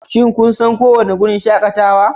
Shin kun san kowane wurin shakatawa